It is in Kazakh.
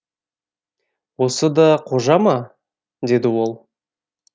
осы да қожа ма деді ол